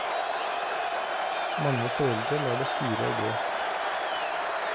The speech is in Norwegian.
Mange foreldre lar det skure og gå.